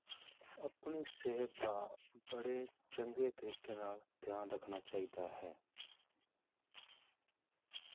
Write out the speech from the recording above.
ਆਪਣੀ ਸਿਹਤ ਦਾ ਬੜੇ ਚੰਗੇ ਤਰੀਕੇ ਨਾਲ ਧਿਆਨ ਰੱਖਣਾ ਚਾਹੀਦਾ ਹੈ।